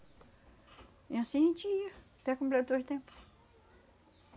E anssim a gente ia, até tempo.